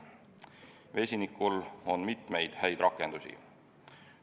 Vesinikul on mitmeid häid rakendusi.